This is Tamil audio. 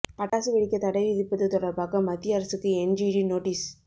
பட்டாசு வெடிக்க தடை விதிப்பது தொடா்பாக மத்திய அரசுக்கு என்ஜிடி நோட்டீஸ்